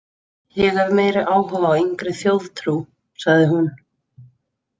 Ég hef meiri áhuga á yngri þjóðtrú, sagði hún.